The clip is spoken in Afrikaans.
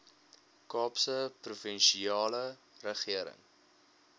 kaapse provinsiale regering